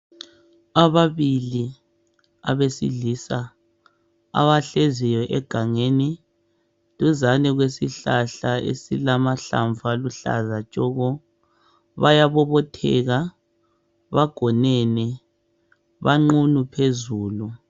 Ababili abesilisa abahleziyo egangeni duzane kwesihlahla esilamahlamvu aluhlaza tshoko bayabobotheka bagonene banqunu phezulu.